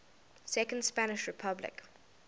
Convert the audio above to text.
second spanish republic